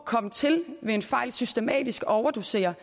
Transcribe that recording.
kom til ved en fejl systematisk at overdosere